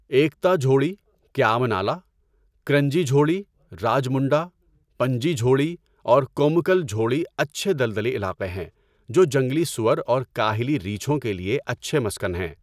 ایکتا جھوڑی، کیام نالہ، کرنجی جھوڑی، راجمنڈہ، پنجی جھوڑی، اور کومکل جھوڑی اچھے دلدلی علاقے ہیں جو جنگلی سؤر اور کاہلی ریچھوں کے لیے اچھے مسکن ہیں۔